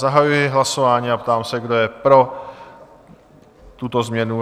Zahajuji hlasování a ptám se, kdo je pro tuto změnu?